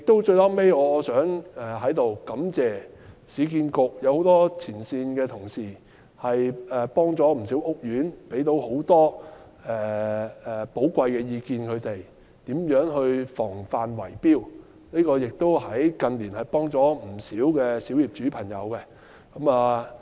最後，我想在此感謝市建局的很多前線同事，協助了不少屋苑業主，向他們提供了不少寶貴意見，尤其在如何防範圍標方面，近年來協助了不少小業主。